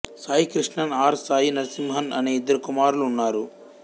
Sai Krishnan R Sai Narasimhan అనే ఇద్దరు కుమారులు ఉన్నారు